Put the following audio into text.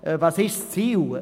Was ist das Ziel?